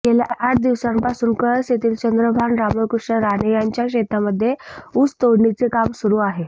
गेल्या आठ दिवसांपासून कळस येथील चंद्रभान रामकृष्ण राणे यांच्या शेतामध्ये उसतोडणीचे काम सुरू आहे